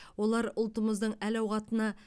олар ұлтымыздың әл ауқатына